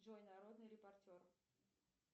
джой народный репортер